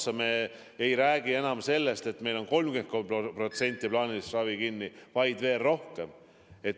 Siis me ei räägi enam sellest, et meil on 30% plaanilisest ravist kinni, vaid veel rohkem.